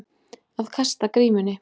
Að kasta grímunni